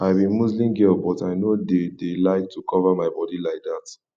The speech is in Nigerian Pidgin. i be muslim girl but i no dey dey like to cover my body like dat